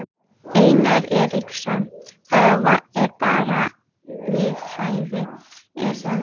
Einar Eiríksson: Það er bara við hæfi er það ekki?